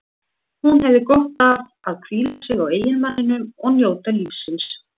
Hún hefði gott af að hvíla sig á eiginmanninum og njóta lífsins.